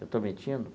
Eu estou metindo?